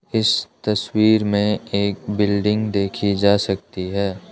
इस तस्वीर में एक बिल्डिंग देखी जा सकती है।